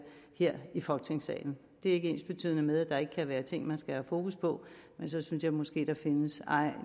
ikke ensbetydende med at der ikke kan være ting man skal have fokus på men så synes jeg måske at der findes